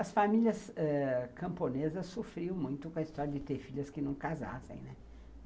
As famílias ãh camponesas sofriam muito com a história de ter filhas que não casassem, né.